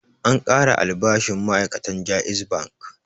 An ƙara albashin ma'ai'katan JAIZ Bank.